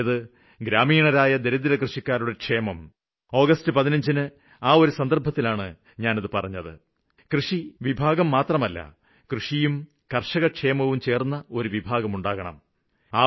അതുതന്നെയാണ് സ്വാതന്ത്ര്യദിനത്തില്ഞാന് അത് പറഞ്ഞത് കേന്ദ്ര കൃഷി മന്ത്രാലയത്തിന്റെ പേര് കേന്ദ്ര കൃഷി കര്ഷകക്ഷേമ മന്ത്രാലയം എന്നാക്കി മാറ്റുമെന്ന്